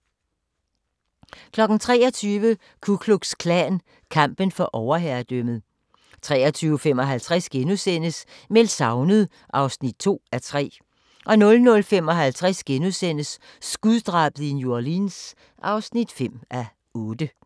23:00: Ku Klux Klan – kampen for overherredømmet 23:55: Meldt savnet (2:3)* 00:55: Skuddrabet i New Orleans (5:8)*